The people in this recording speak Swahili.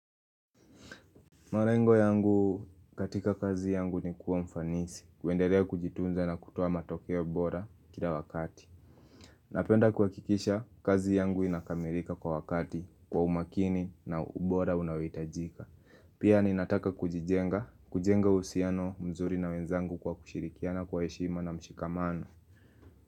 Marengo yangu katika kazi yangu ni kuwa mfanisi, kuenderea kujitunza na kutoa matokeo bora kila wakati. Napenda kuhakikisha kazi yangu inakamilika kwa wakati kwa umakini na ubora unaoitajika. Pia ninataka kujijenga, kujenga uhusiano mzuri na wenzangu kwa kushirikiana kwa heshima na mshikamano.